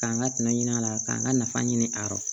K'an ka tɛmɛ ɲini a la k'an ka nafa ɲini a yɔrɔ